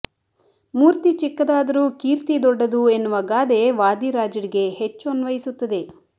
ಮೂರ್ತಿ ಚಿಕ್ಕದಾದರೂ ಕೀರ್ತಿ ದೊಡ್ಡದು ಎನ್ನುವ ಗಾದೆ ವಾದಿರಾಜ್ರಿಗೆ ಹೆಚ್ಚು ಅನ್ವಯಿಸುತ್ತದೆ